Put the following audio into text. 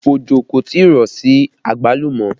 Ojo kò tí ì rọ̀ sí àgbálùmọ́